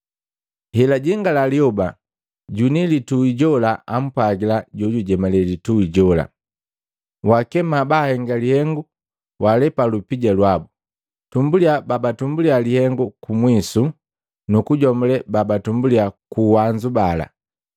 “Helajingala lyoba, juni litui jola ampwagila jojujemale litui jola, ‘Waakema baahenga lihengu waalepa lupija lwabu, tumbuliya babatumbulia lihengu kumwisu, nukujomule babatumbulia kuuwanzu bala.’